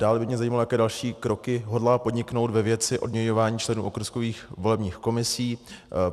Dále by mě zajímalo, jaké další kroky hodlá podniknout ve věci odměňování členů okrskových volebních komisí.